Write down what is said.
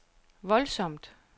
voldsomt